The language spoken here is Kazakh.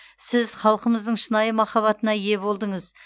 сіз халқымыздың шынайы махаббатына ие болдыңыз